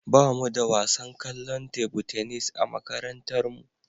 Ba mu da wasan kwallon tebu tenis a makarantarmu.